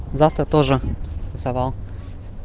завтра тоже завал